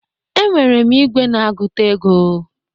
Enwere m igwe na-agụta ego